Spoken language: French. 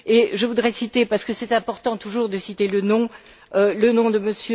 Je voudrais citer parce que c'est important, toujours, de citer le nom le nom de M.